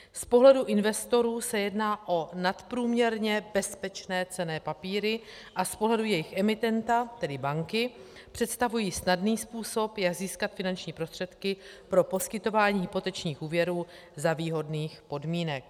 Z pohledu investorů se jedná o nadprůměrně bezpečné cenné papíry a z pohledu jejich emitenta, tedy banky, představují snadný způsob, jak získat finanční prostředky pro poskytování hypotečních úvěrů za výhodných podmínek.